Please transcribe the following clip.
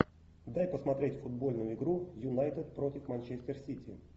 дай посмотреть футбольную игру юнайтед против манчестер сити